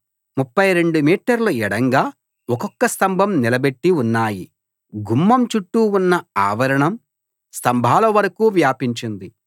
32 మీటర్లు ఎడంగా ఒక్కొక్క స్తంభం నిలబెట్టి ఉన్నాయి గుమ్మం చుట్టూ ఉన్న ఆవరణం స్తంభాల వరకూ వ్యాపించింది